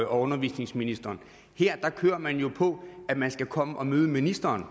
undervisningsministeren her kører man jo på at man skal komme og møde ministeren